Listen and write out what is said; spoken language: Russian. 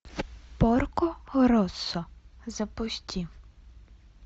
порко россо запусти